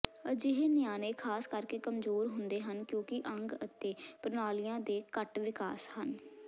ਅਜਿਹੇ ਨਿਆਣੇ ਖ਼ਾਸ ਕਰਕੇ ਕਮਜ਼ੋਰ ਹੁੰਦੇ ਹਨ ਕਿਉਂਕਿ ਅੰਗ ਅਤੇ ਪ੍ਰਣਾਲੀਆਂ ਦੇ ਘੱਟ ਵਿਕਾਸ ਹਨ